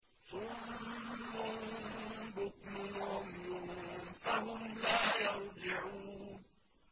صُمٌّ بُكْمٌ عُمْيٌ فَهُمْ لَا يَرْجِعُونَ